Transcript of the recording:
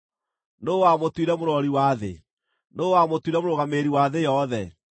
Nũũ wamũtuire mũrori wa thĩ? Nũũ wamũtuire mũrũgamĩrĩri wa thĩ yothe?